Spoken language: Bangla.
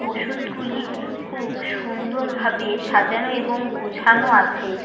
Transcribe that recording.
ওষুধগুলি খুব সুন্দরভাবে সাজানো এবং গোছানো আছে।